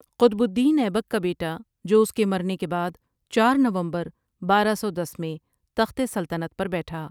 قطب الدین ایبک کا بیٹا جو اس کے مرنے کے بعد چار نومبر بارہ سو دس میں تخت سلطنت پر بیٹھا ۔